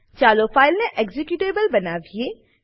ચાલો ફાઈલને એક્ઝિક્યુટેબલ બનાવીએ